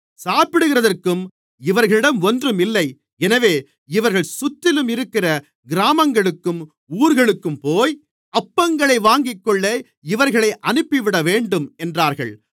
சாப்பிடுகிறதற்கும் இவர்களிடம் ஒன்றும் இல்லை எனவே இவர்கள் சுற்றிலும் இருக்கிற கிராமங்களுக்கும் ஊர்களுக்கும்போய் அப்பங்களை வாங்கிக்கொள்ள இவர்களை அனுப்பிவிடவேண்டும் என்றார்கள்